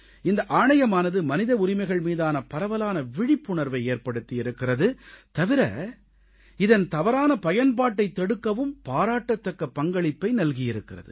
இந்த ஆணையமானது மனித உரிமைகள் மீதான பரவலான விழிப்புணர்வை ஏற்படுத்தி இருக்கிறது தவிர இதன் தவறான பயன்பாட்டைத் தடுக்கவும் பாராட்டத்தக்க பங்களிப்பை நல்கியிருக்கிறது